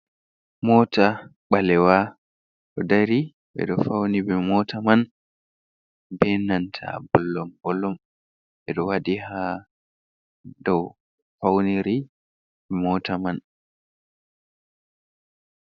Mota ɓalewa, ɗo dari. Ɓe ɗo fauni be mota man be nanta bolom-bolom, ɓe ɗo waɗi haa dou fauniri mota man.